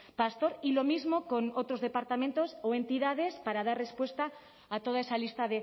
pastor y lo mismo con otros departamentos o entidades para dar respuesta a toda esa lista